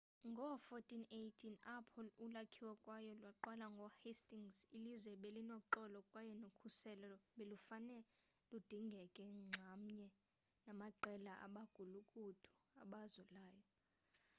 ngoo-1480 apho ulakhiwo kwayo laqalwa ngoo-hastings ilizwe belinoxolo kwaye nokhuselo belufane ludingeke nxamnye namaqelana abagulukuthu abazulayo